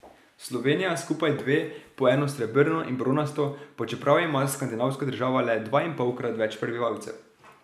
Slovenija skupaj dve, po eno srebrno in bronasto, pa čeprav ima skandinavska država le dvainpolkrat več prebivalcev.